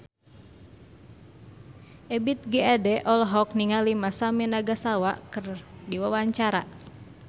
Ebith G. Ade olohok ningali Masami Nagasawa keur diwawancara